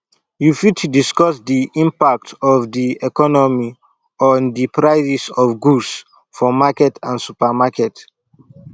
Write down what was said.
you fit discuss di impact of di economy on di prices of goods for market and supermarket